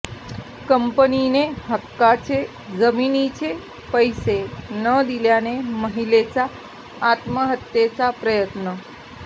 कंपनीने हक्काच्या जमिनीचे पैसे न दिल्याने महिलेचा आत्महत्येचा प्रयत्न